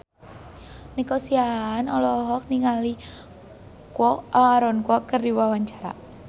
Nico Siahaan olohok ningali Aaron Kwok keur diwawancara